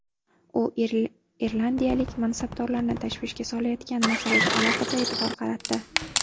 U irlandiyalik mansabdorlarni tashvishga solayotgan masalaga alohida e’tibor qaratdi.